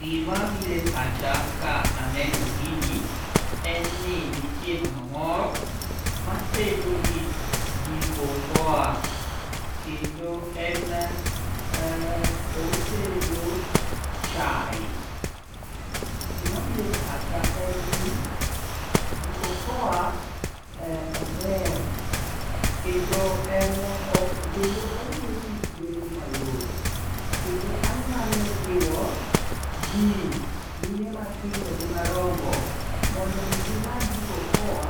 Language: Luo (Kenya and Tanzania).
Gimabiro e pacha ka aneno gini en ni nitie mama moro matedo gi jiko okoa kendo en otedo chae. Gimabiro e pacha en ni jiko okoa ober kendo omiyo tich bedo mayot kendo anyalo jiwo ji, mine matindo gi madongo mondo omi gimany jiko okoa